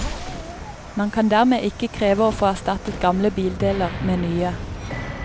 Man kan dermed ikke kreve å få erstattet gamle bildeler med nye.